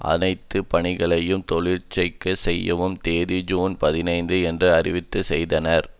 அனைத்து பணிகளையும் செயலிழக்கச்செய்யும் தேதி ஜூன் பதினைந்து என்று அறிவிப்பு செய்தனர்